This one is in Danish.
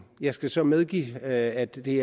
jeg skal så medgive at det